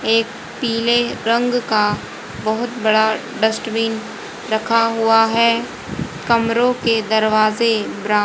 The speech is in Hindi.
एक पीले रंग का बहोत बड़ा डस्टबिन रखा हुआ है कमरों के दरवाजे ब्राउ--